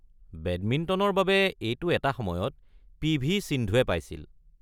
বেডমিণ্টনৰ বাবে এইটো এটা সময়ত পি. ভি. সিন্ধুয়ে পাইছিল।